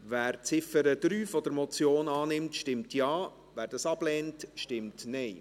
Wer die Ziffer 3 dieser Motion annehmen will, stimmt Ja, wer dies ablehnt, stimmt Nein.